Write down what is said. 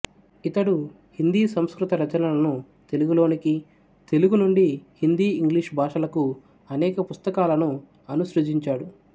ఇతడు హిందీ సంస్కృత రచనలను తెలుగులోనికి తెలుగు నుండి హిందీ ఇంగ్లీషు భాషలకు అనేక పుస్తకాలను అనుసృజించాడు